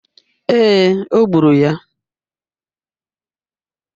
ee, o gburu ya.